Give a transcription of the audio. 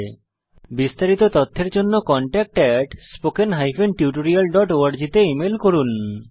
এই বিষয়ে বিস্তারিত তথ্যের জন্য contactspoken tutorialorg তে ইমেল করুন